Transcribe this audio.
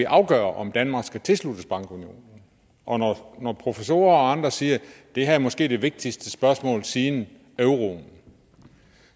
afgøre om danmark skal tilsluttes bankunionen og når professorer og andre siger at det her måske er det vigtigste spørgsmål siden euroen